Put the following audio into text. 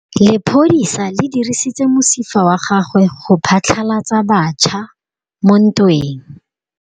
Lepodisa le dirisitse mosifa wa gagwe go phatlalatsa batšha mo ntweng.